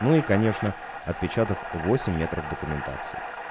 ну и конечно отпечаток восемь на пров документации